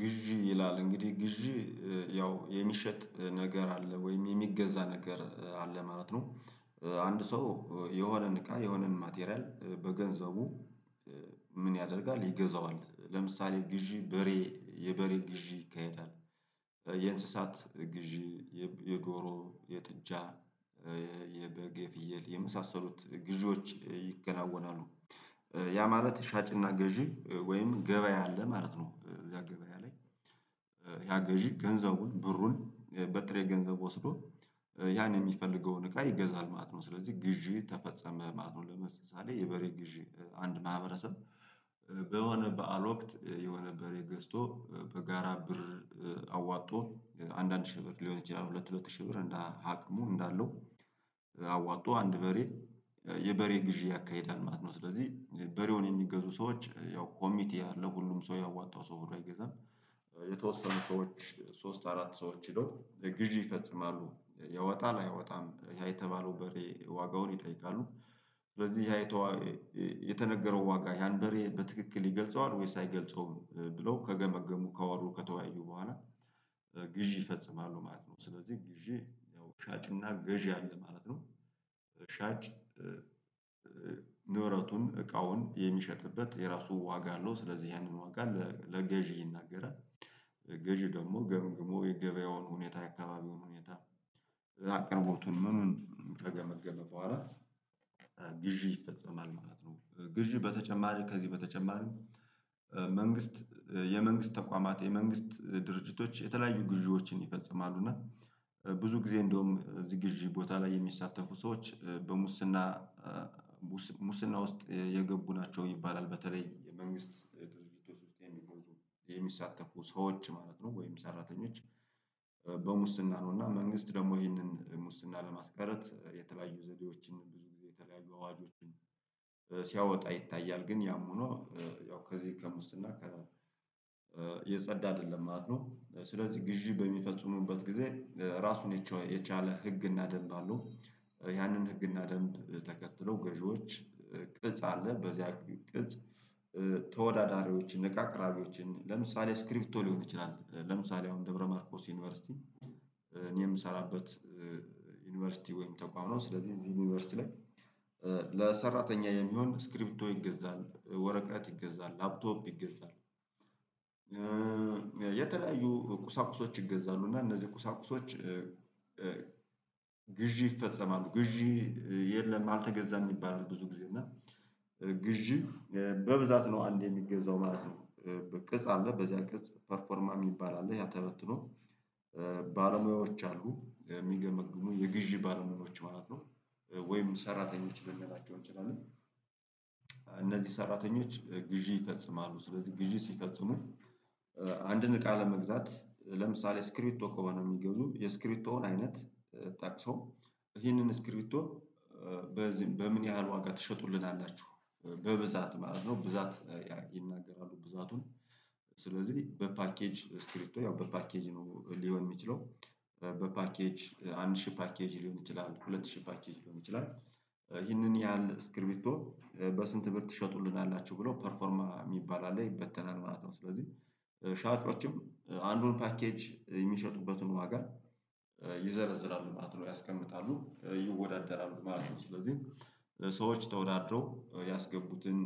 ግዢ ይላል እንግዲህ ግዢ ያው የሚሸጥ ነገር አለ ወይም የሚገዛ ነገር አለ ማለት ነው። አንድ ሰው የሆነን እቃ የሆነን ማቴሪያል በገንዘቡ ምን ያደርጋል? ይገዛዋል። ለምሳሌ ግዢ በሬ የበሬ ግዢ ይካሄዳል። የእንስሳት ግዢ፣ የዶሮ፣ የጥጃ፣ የበግ፣ ፍየል የመሳሰሉት ጊዜዎች ይገናወናሉ። ያ ማለት ሻጭና ገዢ ወይም ገበያ አለ ማለት ነው። እዚያ ገበያ ላይ ያ ገዢ ገንዘቡን ብሩን በጥሬ ገንዘብ ወስዶ ያን የሚፈልገውን እቃ ይገዛል ማለት ነው። ስለዚህ ግዢ ተፈጸመ ማለት ነው። ለምሳሌ የበሬ ግዢ አንድ ማህበረሰብ በሆነ በዓል ወቅት የሆነ በሬ ገዝቶ በጋራ ብር አዋጥቶ አንድ ሺህ ብር ሊሆን ይችላል። ሁለት ሺህ ብር አቅሙ እንዳለው አዋጥቶ አንድ በሬ የበሬ ግዢ ያካሂዳል ማለት ነው። ስለዚህ በሬውን የሚገዙ ሰዎች ያው ኮሚቴ ያለው ሁሉም ሰው ያዋጣው ሰው ብሎ ገዛ የተወሰኑ ሰዎች ሶስት አራት ሰዎች ሄዶ ግዢ ይፈጽማሉ። የወጣ ላይ አይወጣም ያ የተባለው በሬ ዋጋውን ይጠይቃሉ። ስለዚህ ያ የተዋ የተነገረው ዋጋ ያን በሬ በትክክል ይገልጸዋል ወይ ሳይገልጸውም ብለው ከገመገሙ ከወሩ ከተወያዩ በኋላ ግዢ ይፈጽማሉ። ማለት ነው ስለዚህ ግዢ ያው ሻጭና ገዢ አለ ማለት ነው። ሻጭ ንብረቱን እቃውን የሚሸጥበት የራሱ ዋጋ አለው። ስለዚህ ያንን ዋጋ ለገዢ ይናገራል። ገዢ ደግሞ ገምግሞ የገበያውን ሁኔታ የአካባቢውን ሁኔታ አቅርቦቱንም ምኑን ከገመገመ በኋላ ግዢ ይፈጸማል። ማለት ነው ግዢ በተጨማሪ ከዚህ በተጨማሪም መንግስት የመንግስት ተቋማት የመንግስት ድርጅቶች የተለያዩ ግዢዎችን ይፈጽማሉ። እና ብዙ ጊዜ እንደውም ዝግጅ ቦታ ላይ የሚሳተፉ ሰዎች በሙስና ሙስና ውስጥ የገቡ ናቸው ይባላል። በተለይ የመንግስት ድርጅት ውስጥ የሚሳተፉ ሰዎች ማለት ነው ወይም ሰራተኞች በሙስና ነው እና መንግስት ደግሞ ይህንን ሙስና ለማስቀረት የተለያዩ ዘዴዎችን ብዙ ጊዜ የተለያዩ አዋጆችን ሲያወጣ ይታያል። ግን ያም ሆኖ ያው ከዚህ ቀን ውስጥ እና የጸዳ አይደለም ማለት ነው። ስለዚህ ግዢ በሚፈጽሙበት ጊዜ ራሱን የቻለ ህግና ደንብ አለው። ያንን ህግና ደንብ ተከትሎ ገዢዎች ቅጽ አለ በዚያ ቅጽ ተወዳዳሪዎችን እቃ አቅራቢዎችን ለምሳሌ ስክሪፕቶ ሊሆን ይችላል። ለምሳሌ አሁን ደብረማርኮስ ዩኒቨርሲቲ እኔ የምሰራበት ዩኒቨርሲቲ ወይም ተቋም ነው። ስለዚህ እዚህ ዩኒቨርሲቲ ላይ ለሰራተኛ የሚሆን ስክሪፕቶ ይገዛል፣ ወረቀት ይገዛል፣ ላፕቶፕ ይገዛል፣ የተለያዩ ቁሳቁሶች ይገዛሉ። እና እነዚህ ቁሳቁሶች ግዢ ይፈጸማሉ። ግዢ የለም አልተገዛም ይባላል። ብዙ ጊዜ እና ግዢ በብዛት ነው አንዴ የሚገዛው ማለት ነው። በቅጽ አለ በዚያ ቅጽ ፐርፎርማም ይባላል። ያ ተበትኖ ባለሙያዎች አሉ። የሚገመግሙ የግዢ ባለሙያዎች ማለት ነው። ወይም ሰራተኞች ልንገራቸው እንችላለ። እነዚህ ሰራተኞች ግዢ ይፈጽማሉ። ስለዚህ ግዢ ሲፈጽሙ አንድን እቃ ለመግዛት ለምሳሌ ስክሪት ቶኮ የሚገቡ የስክሪቶውን አይነት ጠቅሰው ይህንን ስክሪቶ በዚህም በምን ያህል ዋጋ ትሸጡልናላችሁ? በብዛት ማለት ነው ብዛት ይናገራሉ ብዛቱን። ስለዚህ በፓኬጅ ስክሪፕቶ ያው በፓኬጅ ሊሆን የሚችለው። በፓኬጅ አንድ ሺህ ፓኬጅ ሊሆን ይችላል፤ ሁለት ሺህ ፓኬጅ ሊሆን ይችላል። ይህንን ያህል ስክሪቢቶ በስንት ብር ትሸጡልናላችሁ ብለው ፐርፎርማ የሚባል አለ ይበተናል ማለት ነው። ስለዚህ ሻጮችም አንዱን ፓኬጅ የሚሸጡበትን ዋጋ ይዘረዝራሉ። ማለት ነው ያስቀምጣሉ ይወዳደራሉ ማለት ነው። ስለዚህ ሰዎች ተወዳድረው ያስገቡትን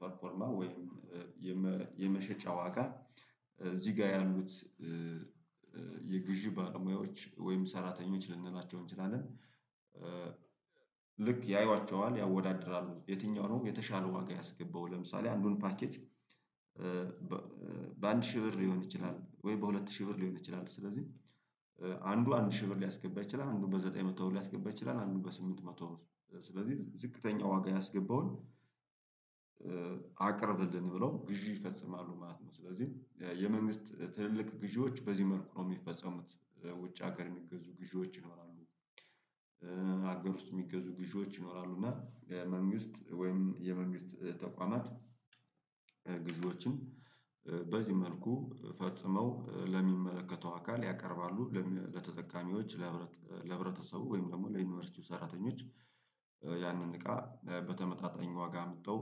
ፐርፎርማ ወይም የመሸጫ ዋጋ እዚህ ጋር ያሉት የግዢ ባለሙያዎች ወይም ሰራተኞች ልንላቸው እንችላለን። ልክ ያዩዋቸዋል ያወዳድራሉ የትኛው ነው የተሻለ ዋጋ ያስገባው። ለምሳሌ አንዱን ፓኬጅ በአንድ ሺህ ብር ሊሆን ይችላል። ወይ በሁለት ሺህ ብር ሊሆን ይችላል። ስለዚህ አንዱ አንድ ሺህ ብር ሊያስገባ ይችላል። አንዱ በዘጠኝ መቶ ሊያስገባ ይችላል። አንዱ በስምንት መቶ ስለዚህ ዝቅተኛ ዋጋ ያስገባውን አቅርብልን። ብለው ግዢ ይፈጽማሉ ማለት ነው። ስለዚህ የመንግስት ትልልቅ ግዢዎች በዚህ መልኩ ነው የሚፈጸሙት። ውጭ ሀገር የሚገዙ ግዢዎች ይናራሉ፤ አገር ውስጥ የሚገዙ ግዢዎች ይኖራሉ፤ እና የመንግስት ወይም የመንግስት ተቋማት ግዢዎችን በዚህ መልኩ ፈጽመው ለሚመለከተው አካል ያቀርባሉ። ለተጠቃሚዎች፣ ለህብረተሰቡ፣ ወይም ደግሞ ለዩኒቨርሲቲው ሰራተኞች፣ ያንን እቃ በተመጣጣኝ ዋጋ አምተው